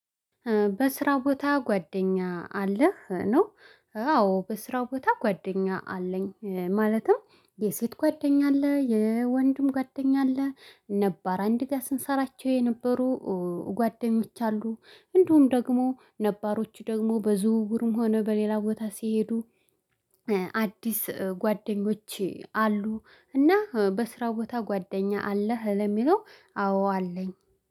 በስራ ቦታ ጓደኛ አለህ? ነው? አዎ በስራ ቦታ ጓደኛ አለኝ ማለትም የሴት ጓደኛ አለ የወንድም ጓደኛ አለ ነባር አንድ ጋር ስንሰራቸው የነበሩ ጓደኞች አሉ። እንደውም ደግሞ ነባሮቹ ደግሞ በዝውውርም ሆነ በሌላ ቦታ ሲሄዱ። አዲስ ጓደኞቼ አሉ። እና በስራ ቦታ ጓደኛ አለህ? ለሚለው አዎ አለኝ።